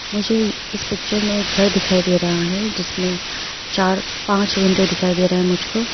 मुझे इस पिक्चर में एक घर दिखाई दे रहा है जिसमें चार पांच विंडो दिखाई दे रहा है मुझको।